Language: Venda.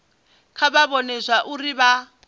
kha vha vhone zwauri vha